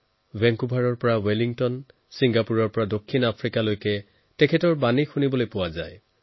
ভেংকোবাৰৰ পৰা ৱেলিংটন ছিংগাপুৰৰ পৰা দক্ষিণ আফ্ৰিকালৈকে তেওঁৰ উপদেশ সৰ্বত্ৰ গুঞ্জৰিক হয়